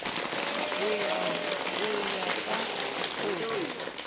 ho ya ka ho re